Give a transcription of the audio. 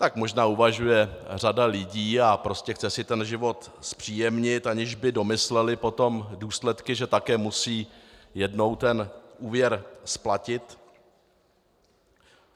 Tak možná uvažuje řada lidí a prostě si chce ten život zpříjemnit, aniž by domýšleli potom důsledky, že také musí jednou ten úvěr splatit.